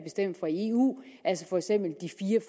eu altså for eksempel de